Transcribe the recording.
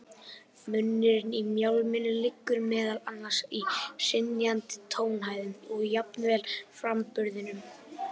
Munurinn á mjálminu liggur meðal annars í hrynjandinni, tónhæðinni og jafnvel framburðinum.